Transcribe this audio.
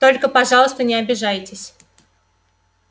только пожалуйста не обижайтесь